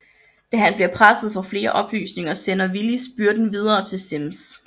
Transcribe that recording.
Da han bliver presset for flere oplysninger sender Willis byrden videre til Simms